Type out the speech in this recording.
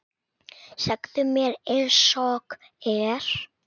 Segðu mér einsog er.